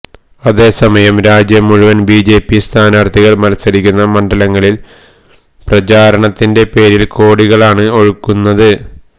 അതേസമയം രാജ്യം മുഴുവന് ബിജെപി സ്ഥാനാര്ഥികള് മത്സരിക്കുന്ന മണ്ഡലങ്ങളില് പ്രചാരണത്തിന്റെ പേരില് കോടികളാണ് ഒഴുകുന്നത്